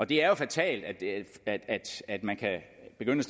det er jo fatalt at man kan begynde